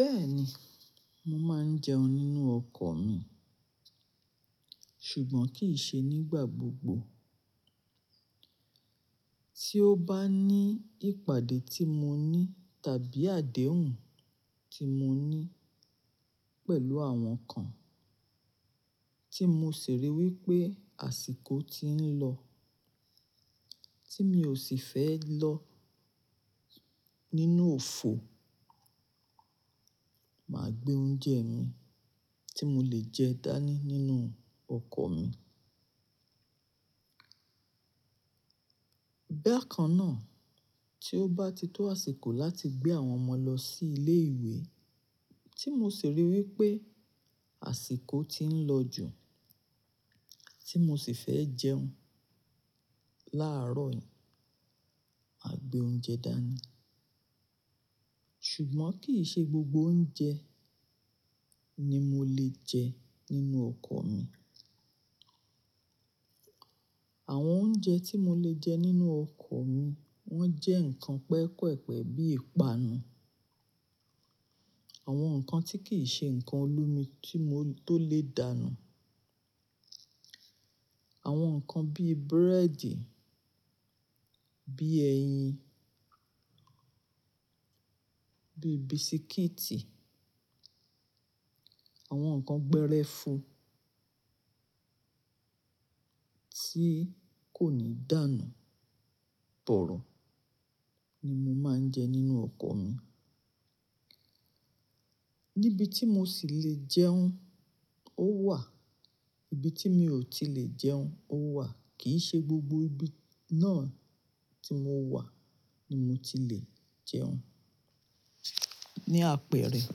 Bẹ́ẹ̀ni, mo máa ń jẹun nínú ọkọ̀ mi, ṣùgbọ́n kì í ṣe nígbà gbogbo. Tí ó bá ní ìpàdé tí mo ní tàbí àdéhùn tí mo ní pẹ̀lú àwọn kan tí mo sì rí i wí pé àsìkò ti ń lọ tí mi ò sì fẹ́ lọ nínú òfo, màá gbé oúnjẹ mi tí mo lè jẹ dání nínú ọkọ̀ mi. Béèkannáà, tí ó bá ti tó àsìkò láti gbé àwọn ọmọ lọ sí ilé ìwé tí mo sì rí i wí pé àsìkò ti ń lọ jù tí mo sì fẹ́ jẹun láàárọ̀ yẹn, mà gbé oúnjẹ dání. Ṣùgbọ́n kì í ṣe gbogbo oúnjẹ ni mo lè jẹ nínú ọkọ̀ mi. Àwọn oúnjẹ tí mo lè jẹ nínú ọkọ̀ mi, wọ́n jẹ́ nǹkan pẹpẹ-pẹpẹ bí ìpanu, àwọn nǹkan tí kì í ṣe nǹkan olómi kí mo tó lè dánù. Àwọn nǹkan bí búrẹ́dì, bí ẹyin, bí bisikíìtì, àwọn nǹkan gbẹ́rẹ́fu tí kò ní dánù, tọ̀ro ni mo máa ń jẹ nínú ọkọ̀ mi. Níbi tí mo sì lè jẹun ó wà, ibi tí mi ò tí lè jẹun ó wà, kì í ṣe gbogbo ibi náà tí mo wà ni mo ti lè jẹun. Ní àpẹ̀rẹ̀.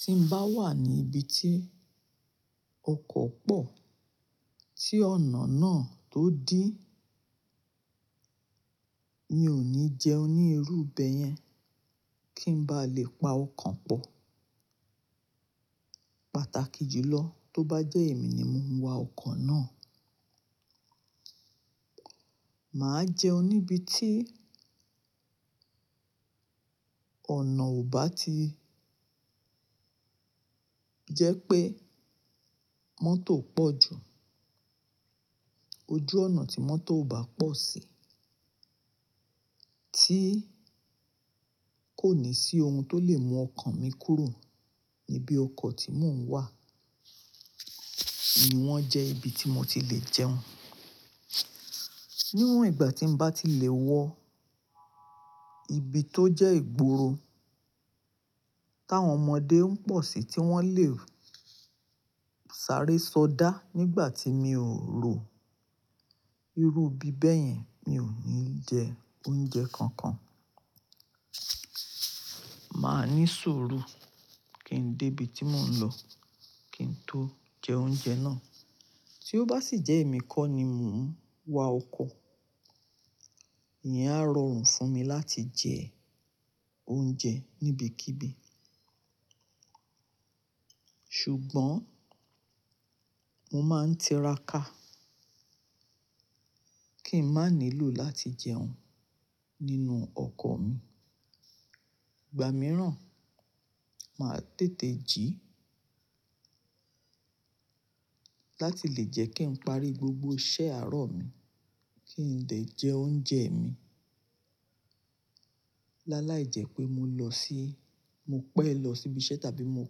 Tí n bá wà ní ibi tí ọkọ̀ pọ̀ tí ọ̀nà náà tó dí, mi ní jẹun ní irú ibẹ̀ yẹn kí n bá lè pa ọkàn pọ̀. Pàtàkì jùlọ tó bá jẹ́ èmi ni mò ń wa ọkọ̀ náà, màá jẹun níbi tí ọ̀nà ò bá ti jẹ́ pé mọ́tò pọ̀ jù. Ojú ọ̀nà tí mọ́tò ò bá pọ̀ sí tí kò ní sí ohun tó lè mú ọkàn mi kúrò níbi ọkọ̀ tí mò ń wà, ni wọ́n jẹ́ ibi tí mo ti lè jẹun. Níwọn ìgbà tí n bá ti lè wọ ibi tó jẹ́ ìgboro táwọn ọmọdé ń pọ̀ sí tí wọ́n lè sáré sọdá nígbà tí mi ò rò irú ibi bẹ́ẹ̀ yẹn, mi ò ní jẹ oúnjẹ kankan. Màá ní sùúrù kí n dé ibi tí mò ń lọ kí n tó jẹ oúnjẹ náà. Tí ó bá sì jẹ́ èmi kọ́ ni mò ń wa ọkọ̀, ìyẹn á rọrùn fún mi láti jẹ oúnjẹ níbi kíbi. Ṣùgbọ́n mo máa ń tiraka kí n má nilò láti jẹun nínú ọkọ̀ mi. Ìgbà mìíràn, màá tètè jí láti lè jẹ́ kí n parí gbogbo iṣẹ́ àárọ̀ mi kí n lè jẹ oúnjẹ mi. Láàlá ìjẹ́ pé mo lọ sí, mo pẹ́ lọ síbi iṣẹ́ tàbí mo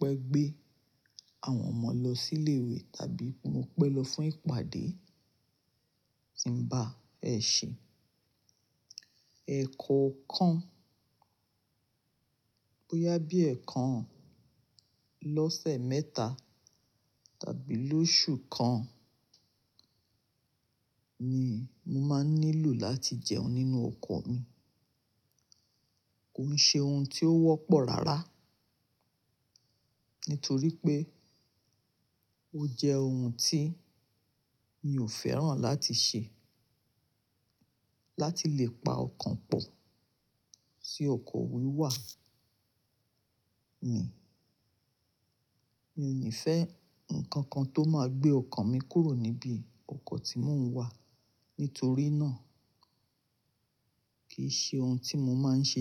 pẹ́ gbé àwọn ọmọ lọ sí ilé ìwé tàbí mo pẹ́ lọ fún ìpàdé tí ń bá ẹ ṣe. Èkan kan bóyá bí ẹ̀ẹ̀kan lọ́sẹ̀ mẹ́ta tàbí lóṣù kan ni m máa nilò láti jẹun nínú ọkọ̀ mi. Kò ń ṣe ohun tí ó wọ́pọ̀ rárá nítorí pé ó jẹ́ ohun tí mi ò fẹ́ràn láti ṣe láti lè pa ọkàn pọ̀ sí ókò wíwà mi. Mi ní fẹ́ nǹkan kan tó máa gbé ọkàn mi kúrò níbi ọkọ̀ tí mò ń wà nítorí náà kì í ṣe ohun tí mo máa ń ṣe.